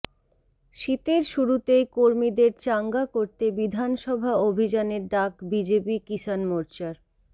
শীতের শুরুতেই কর্মীদের চাঙ্গা করতে বিধানসভা অভিযানের ডাক বিজেপি কিশান মোর্চার